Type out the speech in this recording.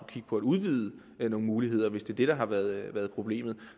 kigge på at udvide nogle muligheder hvis det er det der har været været problemet